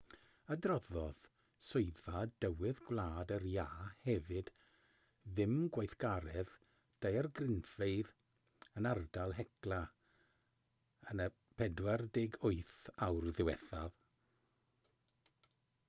adroddodd swyddfa dywydd gwlad yr iâ hefyd ddim gweithgaredd daeargrynfeydd yn ardal hekla yn y 48 awr ddiwethaf